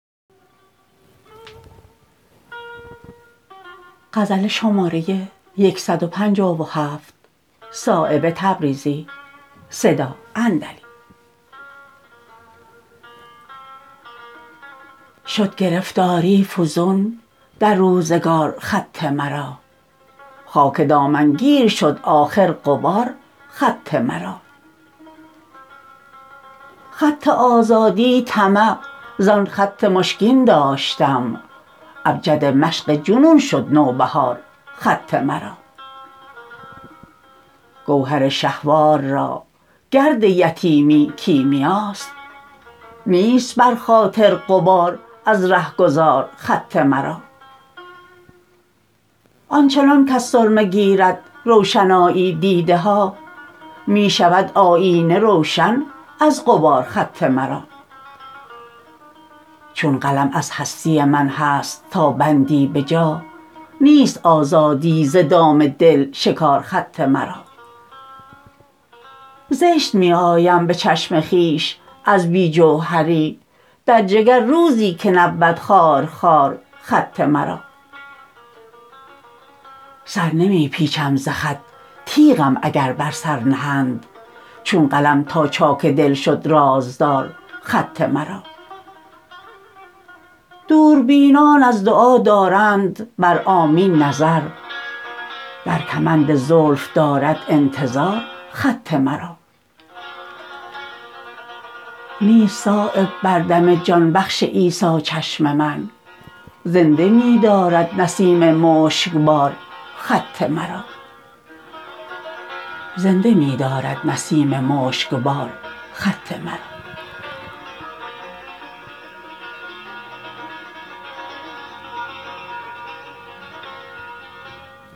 شد گرفتاری فزون در روزگار خط مرا خاک دامنگیر شد آخر غبار خط مرا خط آزادی طمع زان خط مشکین داشتم ابجد مشق جنون شد نوبهار خط مرا گوهر شهوار را گرد یتیمی کیمیاست نیست بر خاطر غبار از رهگذار خط مرا آنچنان کز سرمه گیرد روشنایی دیده ها می شود آیینه روشن از غبار خط مرا چون قلم از هستی من هست تا بندی به جا نیست آزادی ز دام دل شکار خط مرا زشت می آیم به چشم خویش از بی جوهری در جگر روزی که نبود خارخار خط مرا سر نمی پیچم ز خط تیغم اگر بر سر نهند چون قلم تا چاک دل شد رازدار خط مرا دوربینان از دعا دارند بر آمین نظر در کمند زلف دارد انتظار خط مرا نیست صایب بردم جان بخش عیسی چشم من زنده می دارد نسیم مشکبار خط مرا